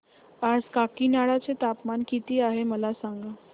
आज काकीनाडा चे तापमान किती आहे मला सांगा